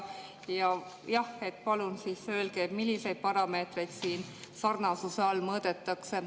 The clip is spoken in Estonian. Jah, palun öelge, milliseid parameetreid sarnasuse all mõõdetakse.